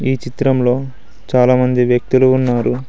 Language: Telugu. ఈ చిత్రంలో చాలామంది వ్యక్తులు ఉన్నారు.